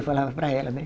Eu falava para ela, né?